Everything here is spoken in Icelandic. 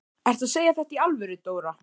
Ertu að segja þetta í alvöru, Dóra?